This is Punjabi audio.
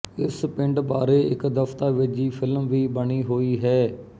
ਇਸ ਪਿੰਡ ਬਾਰੇ ਇੱਕ ਦਸਤਾਵੇਜ਼ੀ ਫਿਲਮ ਵੀ ਬਣੀ ਹੋਈ ਹੈ